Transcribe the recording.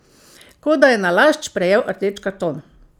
Kot da je nalašč prejel rdeč karton!